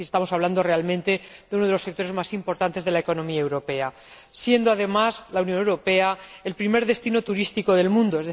Estamos hablando, realmente, de uno de los sectores más importantes de la economía europea, siendo, además, la Unión Europea el primer destino turístico del mundo.